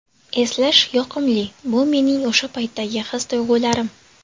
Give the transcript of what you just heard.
Eslash yoqimli – bu mening o‘sha paytdagi his-tuyg‘ularim”.